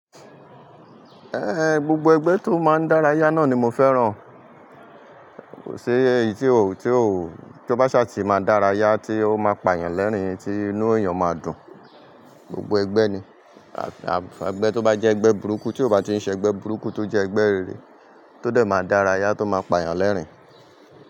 Ehn, gbogbo egbe to maan dara ya naa ni mo feran. Kò sí èyí tí ó, tí ó, tí ó bá ṣà ti máa dárayá tí ó máa pa èyàn lẹ́rìn-ín, tí inú èèyàn máa dùn. Gbogbo ẹgbẹ́ ni. Ẹgbẹ́ tó bá jẹ́ ẹgbẹ́ burúkú tí ò bá ti ń ṣe ẹgbẹ́ burúkú tó jẹ́ ẹgbẹ́ rere, tó dẹ̀ máa dárayá tó máa pa èyàn lẹ́rìn-ín.